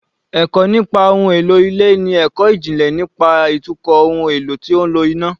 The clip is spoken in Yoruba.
Ẹ̀kọ́ nípa ohun èlò ilé ni ẹ̀kọ́ ìjìnlẹ̀ nípa ìtukọ̀ ohun èlò tó ń lo iná